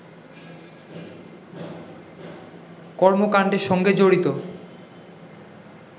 কর্মকাণ্ডের সঙ্গে জড়িত